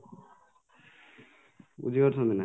ବୁଝିପାରୁଛନ୍ତିନା